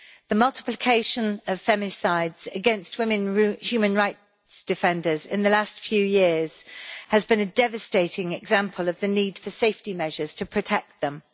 The multiplication of feminicides against women human rights defenders in the last few years has been a devastating example of the need for safety measures to protect them.